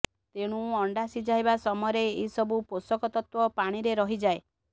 ତେଣୁ ଅଣ୍ଡା ସିଝାଇବା ସମୟରେ ଏହିସବୁ ପୋଷକ ତତ୍ତ୍ୱ ପାଣିରେ ରହିଯାଏ